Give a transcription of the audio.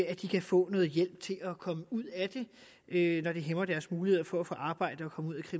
at de kan få noget hjælp til at komme ud af det når det hæmmer deres muligheder for at få arbejde